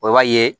i b'a ye